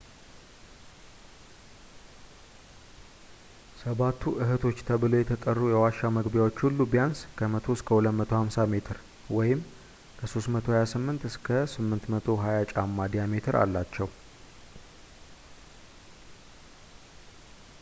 ሰባቱ እህቶች” ተብለው የተጠሩ የዋሻ መግቢያዎች ሁሉ ቢያንስ ከ 100 እስከ 250 ሜትር ከ 328 እስከ 820 ጫማ ዲያሜትር አላቸው